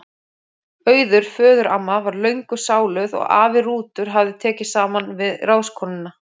Auður föðuramma var löngu sáluð og afi Rútur hafði tekið saman við ráðskonuna